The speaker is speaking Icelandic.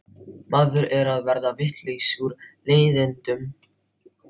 Maður er að verða vitlaus úr leiðindum.